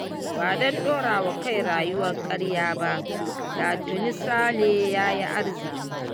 Ba don dorawa kai rayuwar karya ba da tuni sale yayi arziƙi